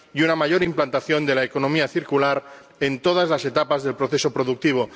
y una mayor implantación de la economía circular en todas las etapas del proceso productivo.